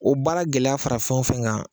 O baara gɛlɛya fara fɛn o fɛn kan